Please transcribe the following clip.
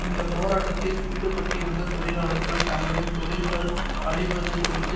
இந்த போராட்டத்தில் ஈடுபட்டிருந்த தொழிலாளர்கள் தங்களின் தொழில்கள் அழிவது குறித்த